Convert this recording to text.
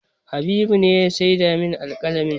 Habibu ne ya saida min alƙalamin